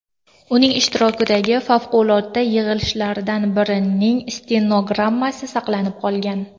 Uning ishtirokidagi favqulodda yig‘ilishlardan birining stenogrammasi saqlanib qolgan.